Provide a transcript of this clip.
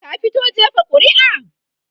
ka fito jefa ƙuri'a?